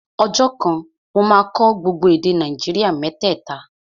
Ọjọ́ kan, mo máa kọ́ gbogbo èdè Nàìjíríà mẹ́tẹ̀ta